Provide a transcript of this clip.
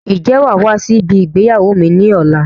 Ń jẹ́ wàá wá sí ibi ìgbéyàwó mi ni ọ̀la?